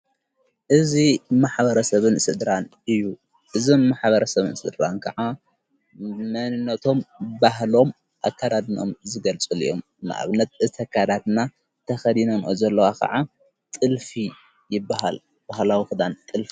እዝ ማኅበረሰብን ሥድራን እዩ እዝማኅበረ ሰብን ሥድራን ከዓ መንነቶም ባህሎም ኣካዳድኖም ዝገልጹል እዮም ንእብነት ዝተካህዳትና ተኸዲኖም ዘለዋ ኸዓ ጥልፍ ይበሃል ባህላዊ ኽዳን ጥልፊ::